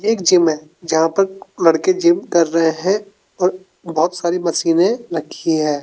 एक जिम है जहाँ पर लड़के जिम कर रहे है और बहोत सारी मशीनें रखी है।